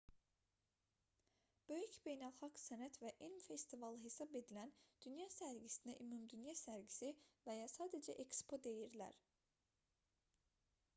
böyük beynəlxalq sənət və elm festivalı hesab edilən dünya sərgisinə ümumdünya sərgisi və ya sadəcə ekspo deyirlər